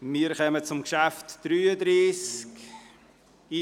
Wir kommen zum Traktandum 33: